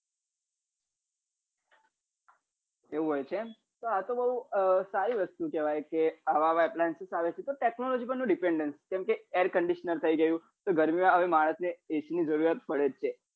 એવું હોય છે તો આ તો બઉ સારી વસ્તુ કેવાય કે આવા આવે છે તો technology પર પણ dependence કેમ કે air condisionre થઇ ગયું તો ગરમી માં માણસ ને હવે ac ની જરૂરત પડે જ છે